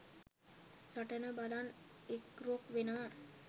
සටන බලන්න එක්රොක් වෙනවා